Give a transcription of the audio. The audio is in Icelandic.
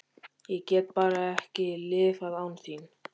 Ég get bara ekki lifað án þín.